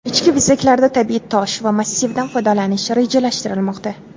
Ichki bezaklarda tabiiy tosh va massivdan foydalanish rejalashtirilmoqda.